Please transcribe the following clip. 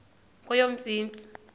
kweyomntsintsi